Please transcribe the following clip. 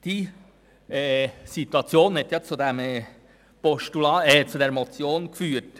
Diese Situation hat zu dieser Motion geführt.